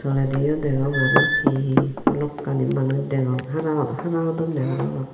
tolediyo degong arow he he balokkani manuj degong hara hara hodonne parapang.